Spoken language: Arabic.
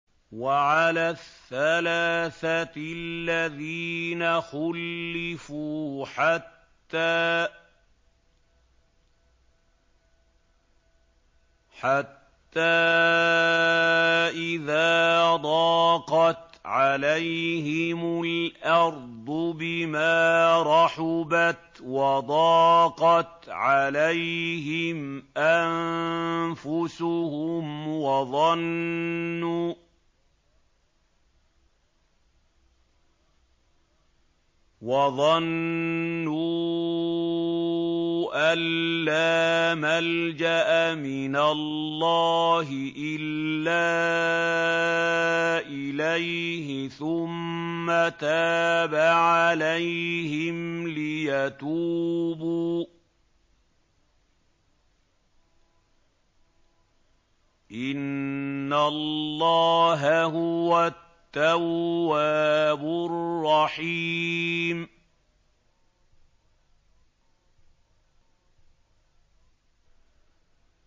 وَعَلَى الثَّلَاثَةِ الَّذِينَ خُلِّفُوا حَتَّىٰ إِذَا ضَاقَتْ عَلَيْهِمُ الْأَرْضُ بِمَا رَحُبَتْ وَضَاقَتْ عَلَيْهِمْ أَنفُسُهُمْ وَظَنُّوا أَن لَّا مَلْجَأَ مِنَ اللَّهِ إِلَّا إِلَيْهِ ثُمَّ تَابَ عَلَيْهِمْ لِيَتُوبُوا ۚ إِنَّ اللَّهَ هُوَ التَّوَّابُ الرَّحِيمُ